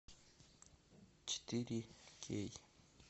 четыре кей